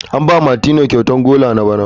An ba Martineau kyautar golan na bana.